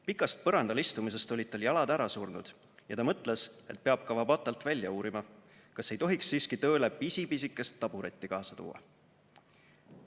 Pikast põrandal istumisest olid tal jalad ära surnud ja ta mõtles, et peab Kawabatalt välja uurima, kas ei tohiks siiski tööle pisi-pisikest taburetti kaasa tuua.